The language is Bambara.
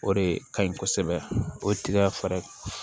O de ka ɲi kosɛbɛ o ye tiga fɛɛrɛ ye